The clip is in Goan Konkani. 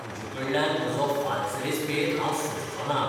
तूजेकडल्यान म्हजो फाल्स रेस्पेत हांव सोंसचोना.